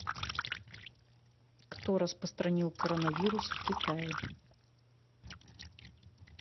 кто распространил коронавирус в китае